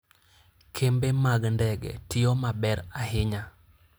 Kembe mag ndege tiyo maber ahinya.